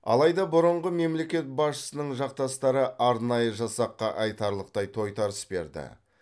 алайда бұрынғы мемлекет басшысының жақтастары арнайы жасаққа айтарлықтай тойтарыс берді